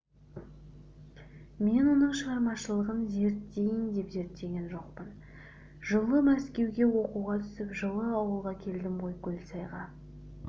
мен оның шығармашылығын зерттейін деп зерттеген жоқпын жылы мәскеуге оқуға түсіп жылы ауылға келдім ғой көлсайға